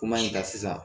Kuma in kan sisan